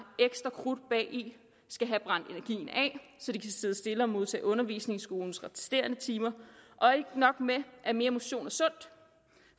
ekstra krudt bagi skal have brændt energien af så de kan sidde stille og modtage undervisning i skolens resterende timer ikke nok med at mere motion er sundt